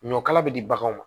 Ɲɔ kala bɛ di baganw ma